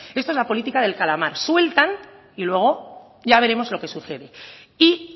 esto es la política del calamar sueltan y luego ya veremos lo que sucede y